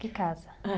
Que casa?